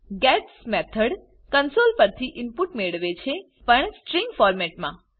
gates method console પર થી input મેળવે છે પણ સ્ટ્રીંગ ફોરમેટમા